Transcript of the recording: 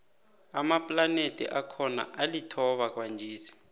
amaplanethi akhona alithoba kwanjesi